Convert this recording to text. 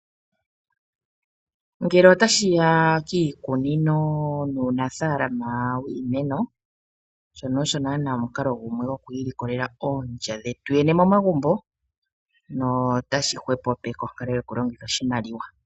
Ngele otashi ya kiikunino nuunafalama wiimeno shono osho nana omukalo gumwe goku ilikolela oondja dhetu yene momagumbo notashi hwepo peke onkalo yoku longitha oshimaliwa.